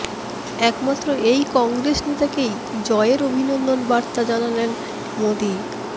একমাত্র এই কংগ্রেস নেতাকেই জয়ের অভিনন্দন বার্তা জানালেন মোদী